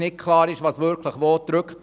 Es ist nicht klar, was wirklich wo drückt.